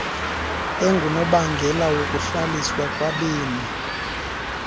engunobangela wokuhlaliswa kwabemi